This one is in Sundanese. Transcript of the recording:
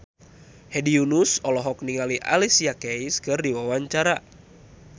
Hedi Yunus olohok ningali Alicia Keys keur diwawancara